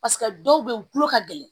Paseke dɔw bɛ yen u tulo ka gɛlɛn